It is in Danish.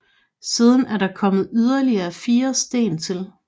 Siden er der kommet yderligere fire sten til